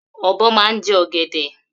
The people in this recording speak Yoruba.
Obo màan je ogede.